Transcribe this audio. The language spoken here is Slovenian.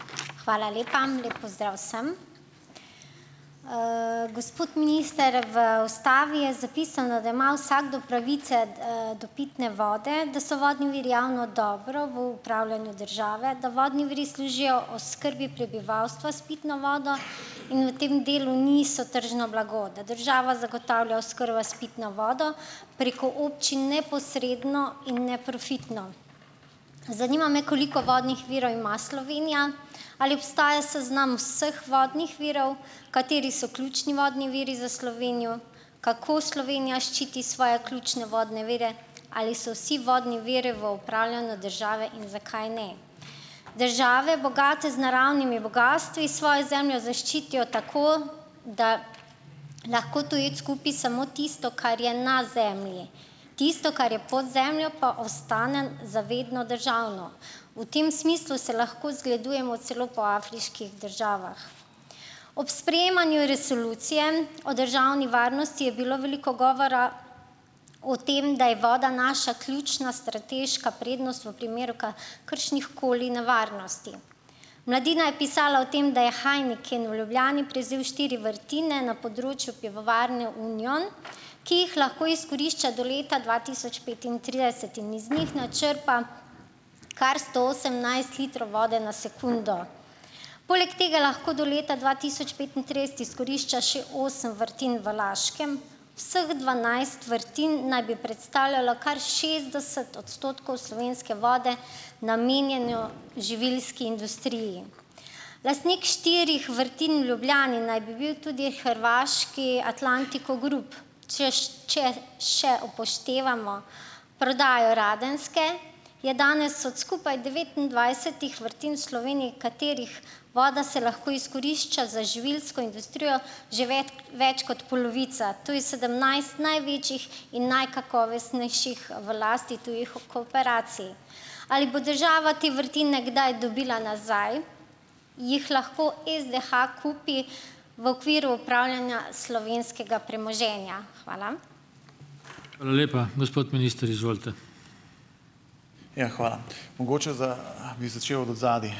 Hvala lepa, lep pozdrav vsem. gospod minister, v ustavi je zapisano, da ima vsakdo pravice, do pitne vode, da so vodni viri javno dobro, v upravljanju države, da vodni viri služijo oskrbi prebivalstva s pitno vodo in v tem delu niso tržno blago. Da država zagotavlja oskrbo s pitno vodo preko občin neposredno in neprofitno. Zanima me, koliko vodnih virov ima Slovenija? Ali obstaja seznam vseh vodnih virov? Kateri so ključni vodni viri za Slovenijo? Kako Slovenija ščiti svoje ključne vodne vire? Ali so vsi vodni viri v upravljanju države in zakaj ne? Države, bogate z naravnimi bogastvi, svojo zemljo zaščitijo tako , da lahko tujec kupi samo tisto, kar je na zemlji. Tisto, kar je pod zemljo, pa ostane zavedno državno. V tem smislu se lahko celo zgledujemo celo po afriških državah. Ob sprejemanju Resolucije o državni varnosti je bilo veliko govora o tem, da je voda naša ključna strateška prednost v primeru kakršnihkoli nevarnosti. Mladina je pisala o tem, da je Heiniken v Ljubljani prevzel štiri vrtine na področju Pivovarne Union, ki jih lahko izkorišča do leta dva tisoč petintrideset in z njih načrpa kar sto osemnajst litrov vode na sekundo. Poleg tega lahko do leta dva tisoč petintrideset izkorišča še osem vrtin v Laškem. Vseh dvanajst vrtin naj bi predstavljalo kar šestdeset odstotkov slovenske vode, namenjene živilski industriji. Lastnik štirih vrtin v Ljubljani naj bi bil tudi hrvaški Atlantic Grupa, če še upoštevamo prodajo Radenske, je danes skupaj od skupaj devetindvajsetih vrtin v Sloveniji, katerih voda se lahko izkorišča za živilsko industrijo, že več kot polovica. Tu je sedemnajst največjih in najkakovostnejših v lasti tujih korporacij. Ali bo država te vrtine kdaj dobila nazaj? Jih lahko SDH kupi v okviru upravljanja slovenskega premoženja? Hvala. Hvala lepa. Gospod minister, izvolite. Ja, hvala. Mogoče bi začel od zadaj.